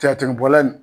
Tigɛ tigɛ bɔla nin